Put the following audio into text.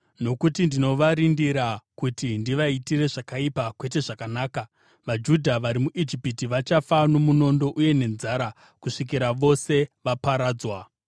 Nokuti ndinovarindira kuti ndivaitire zvakaipa kwete zvakanaka, vaJudha vari muIjipiti vachafa nomunondo uye nenzara kusvikira vose vaparadzwa.